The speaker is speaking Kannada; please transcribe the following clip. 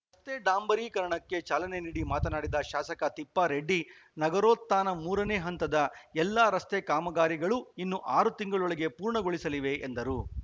ರಸ್ತೆ ಡಾಂಬರೀಕರಣಕ್ಕೆ ಚಾಲನೆ ನೀಡಿ ಮಾತನಾಡಿದ ಶಾಸಕ ತಿಪ್ಪಾರೆಡ್ಡಿ ನಗರೋತ್ಥಾನ ಮೂರನೆ ಹಂತದ ಎಲ್ಲಾ ರಸ್ತೆ ಕಾಮಗಾರಿಗಳು ಇನ್ನು ಆರು ತಿಂಗಳೊಳಗೆ ಪೂರ್ಣಗೊಳ್ಳಲಿವೆ ಎಂದರು